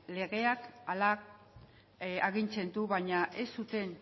legeak hala agintzen du baina ez zuten